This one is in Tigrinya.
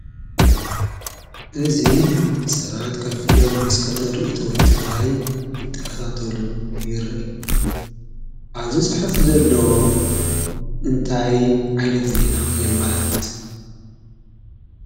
እዚ ሰባት ከፍ ኢሎም መስኮት ሪኢቶ ትግራይ እንትካታተሉ የርኢ፡፡ ኣብዚ ፅሑፍ ዘሎ እንታይ ዓይነት ዜና የመላክት?